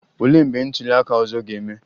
Olee mgbe ntuli aka ọzọ ga-eme?